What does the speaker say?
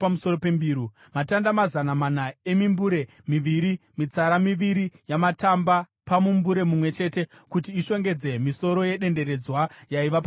matamba mazana mana emimbure miviri (mitsara miviri yamatamba pamumbure mumwe chete, kuti ishongedze misoro yedenderedzwa yaiva pamusoro pembiru);